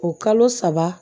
O kalo saba